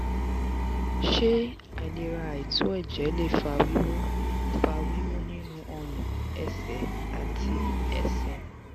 ṣé àìlera àìto ẹjẹ lè fa wiwu fa wiwu nínú orun ẹ̀sẹ̀ àti ẹsẹ̀?